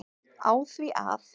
á því að